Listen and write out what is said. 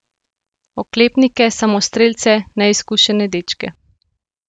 Oklepnike, samostrelce, neizkušene dečke.